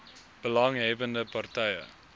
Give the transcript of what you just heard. belang hebbende partye